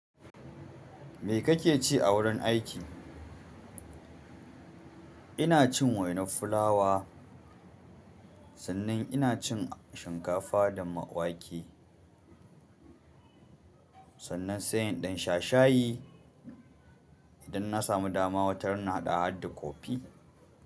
Me kake ci a wurin aiki? Ina cin waina fulawa, sannan ina cin shinkafa da wake. Sannan, sai in ɗan sha shayi idan na samu dama, wata rana haɗa hadda kofi.